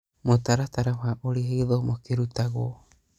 Mũtaratara wa ũrĩa gĩthomo kĩrutagwo.